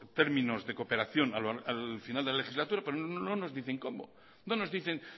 términos de cooperación al final de la legislatura pero no nos dicen cómo no nos dicen